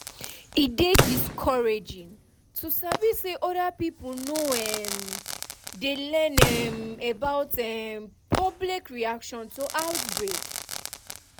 e dey discouraging to sabi say other pipo no um dey learn um about um public reaction to outbreak